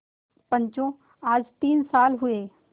पंचो आज तीन साल हुए